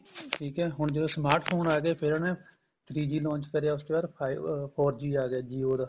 ਠੀਕ ਏ ਹੁਣ ਜਦੋਂ smart phone ਆ ਗਏ ਫੇਰ ਉਹਨੇ three G launch ਕਰਿਆ ਉਸ ਕੇ ਬਾਅਦ five ਅਹ four G ਆ ਗਿਆ jio ਦਾ